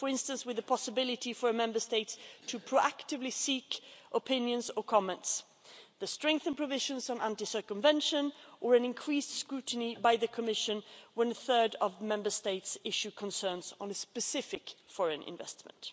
For instance, with the possibility for a Member State to proactively seek opinions or comments, the strengthened provisions on anti circumvention or an increased scrutiny by the Commission when a third of Member States issue concerns on a specific foreign investment.